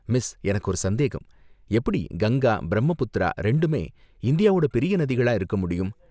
Miss எனக்கு ஒரு சந்தேகம், எப்படி கங்கா, பிரம்மபுத்திரா ரெண்டுமே இந்தியாவோட பெரிய நதிகளா இருக்க முடியும்?